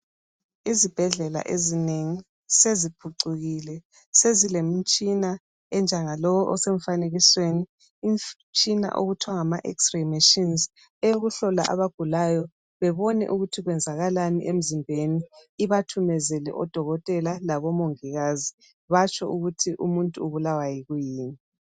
Izibhedlela ezinengi seziphucukile sezilemitshina onjengalo osemfanekisweni. Imtshina okuthwa ngama x ray machines eyokuhlola abagulayo bebone ukuthi kwenzakalani emzimbeni ibathumezele odokotela labomongikazi batsho ukuthi umuntu ubulawa yikuyini.